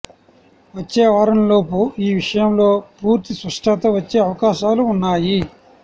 వచ్చే వారంలోపు ఈ విషయంలో పూర్తి స్పష్టత వచ్చే అవకాశాలు వున్నాయి